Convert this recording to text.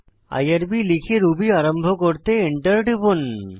IRB খুলে Ruby আরম্ভ করতে এন্টার টিপুন